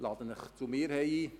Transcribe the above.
Ich lade Sie zu mir ein.